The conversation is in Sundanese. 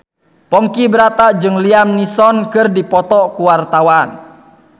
Ponky Brata jeung Liam Neeson keur dipoto ku wartawan